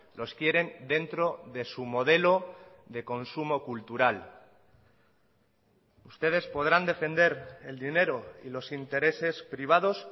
los quieren dentro de su modelo de consumo cultural ustedes podrán defender el dinero y los intereses privados